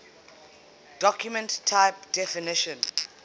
document type definition